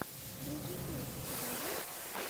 рыжий пес у тебя есть